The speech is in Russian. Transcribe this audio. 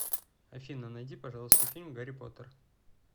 афина найди пожалуйста фильм гарри потер